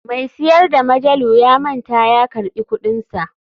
Mai siyar da majalu ya manta ya karɓi kuɗinsa.